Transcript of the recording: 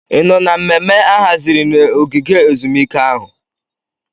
Ị nọ na mmemme a haziri na ogige ezumike ahụ?